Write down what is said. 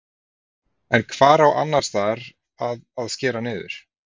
En hvar á annarsstaðar að að skera niður?